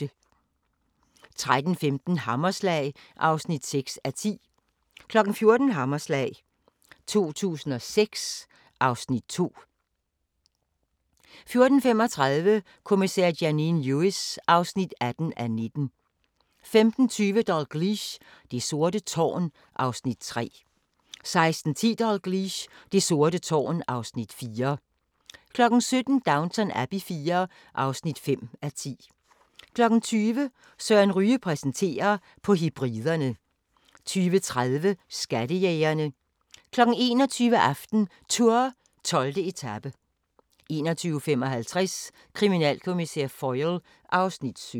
13:15: Hammerslag (6:10) 14:00: Hammerslag 2006 (Afs. 2) 14:35: Kommissær Janine Lewis (18:19) 15:20: Dalgliesh: Det sorte tårn (Afs. 3) 16:10: Dalgliesh: Det sorte tårn (Afs. 4) 17:00: Downton Abbey IV (5:10) 20:00: Søren Ryge præsenterer: På Hebriderne 20:30: Skattejægerne 21:00: AftenTour: 12. etape 21:55: Kriminalkommissær Foyle (Afs. 17)